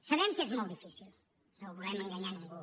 sabem que és molt difícil no volem enganyar ningú